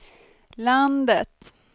landet